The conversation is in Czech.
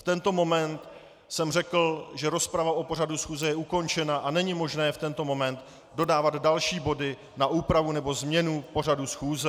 V tento moment jsem řekl, že rozprava o pořadu schůze je ukončena a není možné v tento moment dodávat další body na úpravu nebo změnu pořadu schůze.